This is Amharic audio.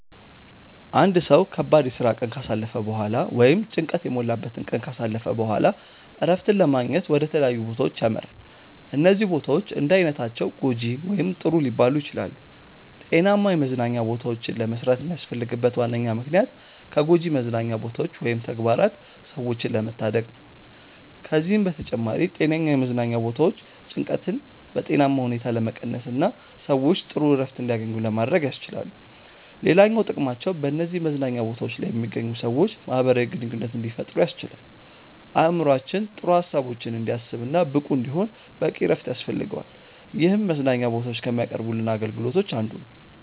አንድ ሰው ከባድ የስራ ቀን ካሳለፈ በኋላ ወይም ጭንቀት የሞላበትን ቀን ካሳለፈ በኋላ እረፍትን ለማግኘት ወደ ተለያዩ ቦታዎች ያመራል። እነዚህ ቦታዎች እንዳይነታቸው ጐጂ ወይም ጥሩ ሊባሉ ይችላሉ። ጤናማ የመዝናኛ ቦታዎችን ለመስራት የሚያስፈልግበት ዋነኛ ምክንያት ከጎጂ መዝናኛ ቦታዎች ወይም ተግባራት ሰዎችን ለመታደግ ነው። ከዚህም በተጨማሪ ጤነኛ የመዝናኛ ቦታዎች ጭንቀትን በጤናማ ሁኔታ ለመቀነስና ሰዎች ጥሩ እረፍት እንዲያገኙ ለማድረግ ያስችላሉ። ሌላኛው ጥቅማቸው በነዚህ መዝናኛ ቦታዎች ላይ የሚገኙ ሰዎች ማህበራዊ ግንኙነት እንዲፈጥሩ ያስችላል። አእምሮአችን ጥሩ ሀሳቦችን እንዲያስብ እና ብቁ እንዲሆን በቂ እረፍት ያስፈልገዋል ይህም መዝናኛ ቦታዎች ከሚያቀርቡልን አገልግሎቶች አንዱ ነው።